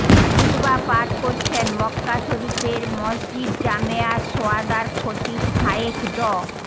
খুতবা পাঠ করছেন মক্কা শরীফের মসজিদ জামেআশ শোহাদার খতিব শায়েখ ড